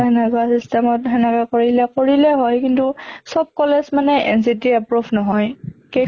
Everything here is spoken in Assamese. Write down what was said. তাই system ত সেনেকে কৰিলে কৰিলে হʼল, চব college মানে ৰ approved নহয় কেই